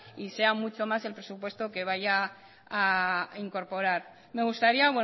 y sea mucho más el presupuesto que vaya a incorporar me gustaría